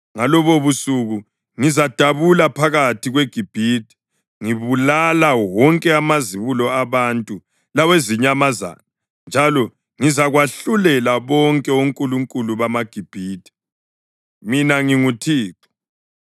Ngalobobusuku ngizadabula phakathi kweGibhithe ngibulala wonke amazibulo abantu lawezinyamazana njalo ngizakwahlulela bonke onkulunkulu bamaGibhithe. Mina nginguThixo.